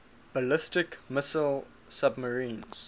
ballistic missile submarines